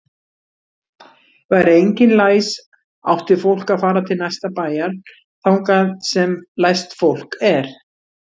Væri enginn læs átti fólk að fara til næsta bæjar þangað sem læst fólk er.